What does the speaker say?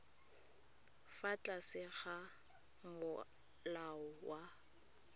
fa tlase ga molao wa